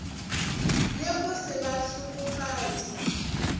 le go se ba hlokofatše